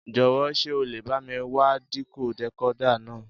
Jọ̀wọ́ ṣé o lè bá mi wá dìkó decoder náà?